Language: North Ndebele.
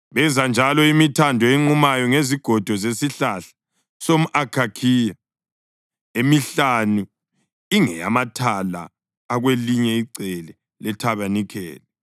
Benza njalo imithando enqumayo ngezigodo zesihlahla somʼakhakhiya: emihlanu ingeyamathala akwelinye icele lethabanikeli,